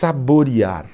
saborear.